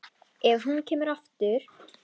Ef hún kemur aftur.